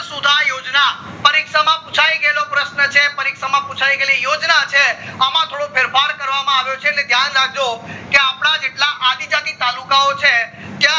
આ પરિક્ષા માં પુછાય ગયેલો પ્રશન છે પર્કીશા મ પુછાય ગયેલી યોજના છે અમ થોડો ફેરફાર કરવામાં આવ્યો છે એટલે ધ્યાન રક્જો કે અપડા જે આદિજાતિ તાલુકાઓ છે ત્યાં